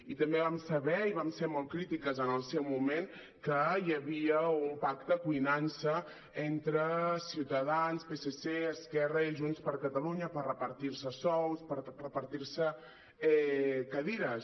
i també vam saber i hi vam ser molt crí·tiques en el seu moment que hi havia un pacte cuinant·se entre ciutadans psc esquerra i junts per catalunya per repartir·se sous per repartir·se cadires